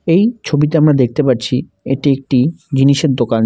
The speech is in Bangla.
এই ছবিতে আমরা দেখতে পারছি এটি একটি জিনিসের দোকান।